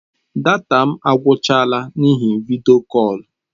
Data m agwụchaala n'ihi vidiyo kọl.